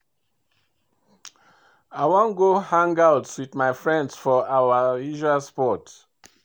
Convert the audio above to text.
I wan go hangout with my friends for our usual spot